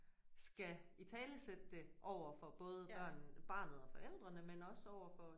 Skal italesætte det overfor både børn barnet og forældrene men også overfor